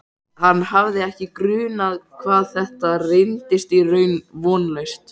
Hann hafði ekki grunað hvað þetta reynist í raun vonlaust.